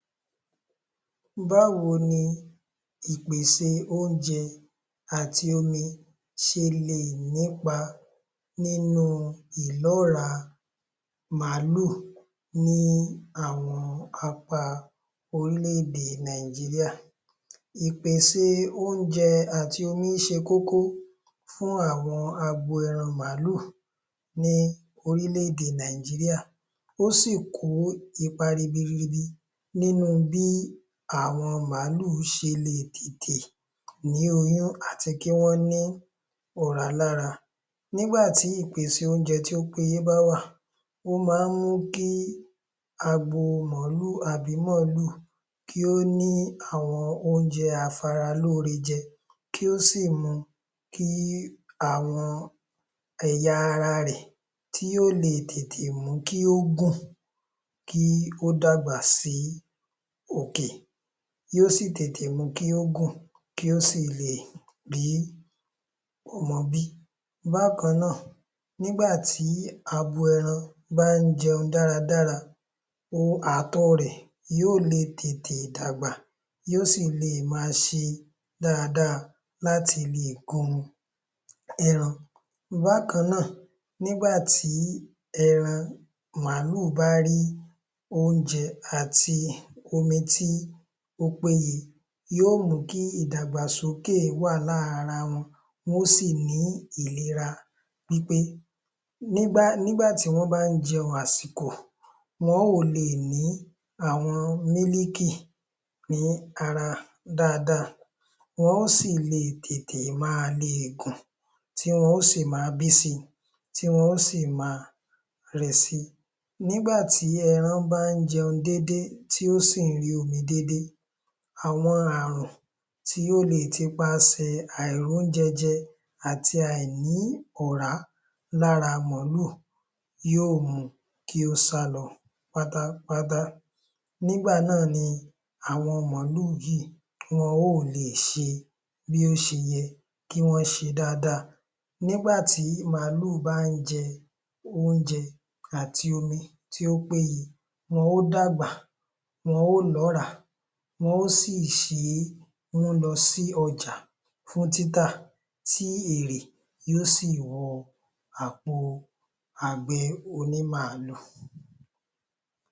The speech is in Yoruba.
Báwo ni ìpèsè oúnjẹ àti omi ṣelè nípa nínú ìlọ́ra màálù ní àwọn apá orílẹ-èdè Nàìjírìá. Ìpèsè oúnjẹ àti omi ṣe kókó fún àwọn agbo ẹran màálù ní orílẹ-èdè Nàìjírìá. Ó sì kó ipa ribiribi nínú bí àwọn màálu ṣelè tètè ní oyún àti kí wọ́n ní ọ̀rá lára nígbà tí ìpèsè oúnjẹ tí ó péye bá wà o máa ń mú kí agbo màálù àbí màálù kí ó ní àwọn oúnjẹ aṣaralóre jẹ kí ó si mu kí àwọn ẹ̀yà ara rẹ̀ kí ó lè tètè mú kí ó gùn kí ó dàgbà si òkè yóò sì tètè mu kí ó gùn kí ó sì lè rí ọmọ bí. Bákan náà, nígbà tí abo ẹran bá ń jẹun dáradára yóò lè tètè dàgbà yóò si lè máa ṣe dáadáa láti lè kọ́ wọn ẹran Bákan náà, nígbà tí ẹran màálù bá rí oúnjẹ àti omi tí ó péye yóò mú kí ìdàgbàsókè wà lára wọn wọ́n ó sì ní ìlera wí pé nígbà tí wọ́n bá jẹun àsìkò wọ́n ó lè ní àwọn ní ara dáadáa wọ́n ó sì tètè máa lè gùn tí wọ́n ó si máa bí si tí wọ́n ó si máa rẹ̀ si. Nígbà tí ẹran bá ń jẹun déedée, tí ó si ń rí omi déedée àwọn àrùn tí ó lè ti pa sẹ̀ àìrí oúnjẹ jẹ àti àìní ọ̀rá lára màálù yóò mu kí ó sálọ pátápátá, nígbà náà ni àwọn màálù wọ́n ò lèṣe bí ó ṣe yẹ kí wọ́n ṣe dáadáa nígbà tí màálù ba ń jẹ oúnjẹ àti omi tí ó péye, wọn ó dàgbà wọn ó ní, wọn ó si ṣé mú lọ sí ọjà fún títà tí èrè yóò sì wọ àpò àgbẹ̀ onímàálù.